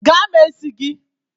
Gaa mee isi gị!